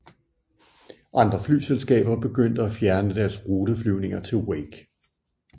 Andre flyselskaber begyndte at fjerne deres ruteflyvninger til Wake